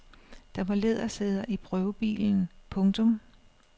Der var lædersæder i prøvebilen. punktum